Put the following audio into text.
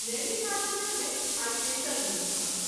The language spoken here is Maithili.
नैमिषारण्य मे आई तेसर दिन छल।